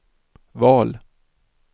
val